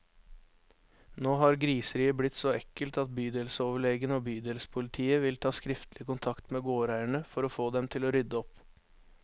Nå har griseriet blitt så ekkelt at bydelsoverlegen og bydelspolitiet vil ta skriftlig kontakt med gårdeierne, for å få dem til å rydde opp.